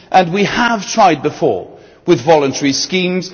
We have tried before with voluntary schemes.